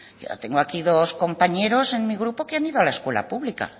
yo tengo aquí dos compañeros en mi grupo que han ido a la escuela pública